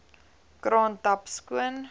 kraan tap skoon